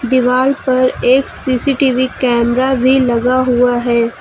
दीवाल पर एक सी_सी_टी_वी कैमरा भी लगा हुआ है।